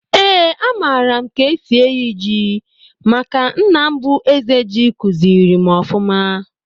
Eeǃ A mara m k'esi eyi ji, maka nna m bu Eze Ji, kuziri m ọfụma.